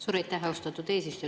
Suur aitäh, austatud eesistuja!